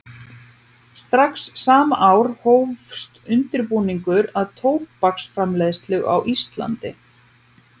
Strax sama ár hófst undirbúningur að tóbaksframleiðslu á Íslandi.